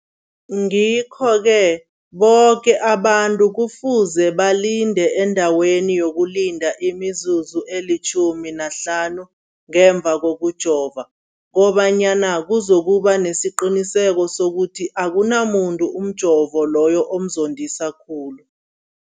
Ngikho-ke boke abantu kufuze balinde endaweni yokulinda imizuzu eli-15 ngemva kokujova, koba nyana kuzokuba nesiqiniseko sokuthi akunamuntu umjovo loyo omzondisa khulu.